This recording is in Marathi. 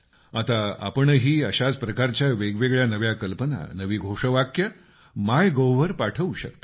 आता आपणही अशाच प्रकारच्या वेगवेगळ्या नव्या कल्पना नवी घोषवाक्य माय गोव्ह वर पाठवू शकता